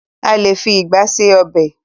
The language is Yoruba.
A lé fi ìgba ṣe ọb|.